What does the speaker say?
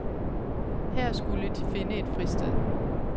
Her skulle de finde et fristed.